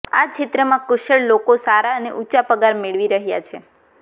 આ ક્ષેત્રમાં કુશળ લોકો સારા અને ઉંચા પગાર મેળવી રહ્યા છે